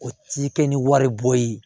O ti kɛ ni wari bɔ ye